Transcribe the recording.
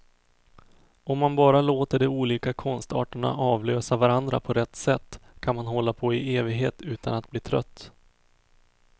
Om man bara låter de olika konstarterna avlösa varandra på rätt sätt, kan man hålla på i evighet utan att bli trött.